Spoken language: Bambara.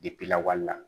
lawale la